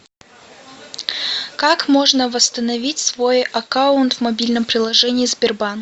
как можно восстановить свой аккаунт в мобильном приложении сбербанк